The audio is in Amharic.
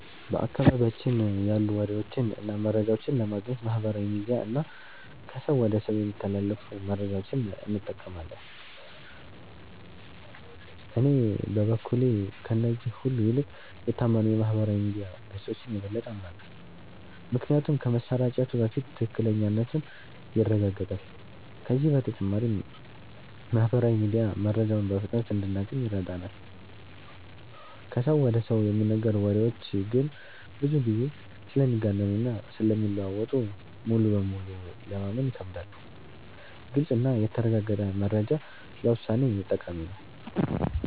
በአካባቢያችን ያሉ ወሬዎችን እና መረጃዎችን ለማግኘት ማህበራዊ ሚዲያ እና ከሰው ወደ ሰው የሚተላለፉ መረጃዎችን እንጠቀማለን። እኔ በበኩሌ ከእነዚህ ሁሉ ይልቅ የታመኑ የማህበራዊ ሚዲያ ገጾችን የበለጠ አምናለሁ። ምክንያቱም ከመሰራጨቱ በፊት ትክክለኛነቱ ይረጋገጣል፤ ከዚህ በተጨማሪም ማህበራዊ ሚዲያ መረጃውን በፍጥነት እንድናገኝ ይረዳናል። ከሰው ወደ ሰው የሚነገሩ ወሬዎች ግን ብዙ ጊዜ ስለሚጋነኑ እና ስለሚለዋወጡ ሙሉ በሙሉ ለማመን ይከብዳሉ። ግልጽ እና የተረጋገጠ መረጃ ለውሳኔ ጠቃሚ ነው።